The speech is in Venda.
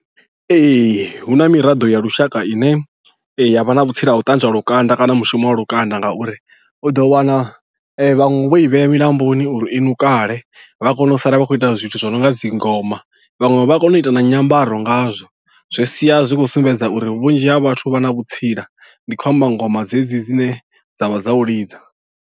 Ee hu na miraḓo ya lushaka i ne ya vha na vhutsila ha u ṱanzwa lukanda kana mushumo wa lukanda ngauri u ḓo wana vhaṅwe vho i vhea milamboni uri i ṋukale vha kone u sala vha khou ita zwithu zwo no nga dzi ngoma vhaṅwe vha kone u ita na nyambaro nga zwo zwi sia zwi khou sumbedza uri vhunzhi ha vhathu vha na vhutsila ndi khou amba ngoma dzedzi dzine dza vha dza u lidza.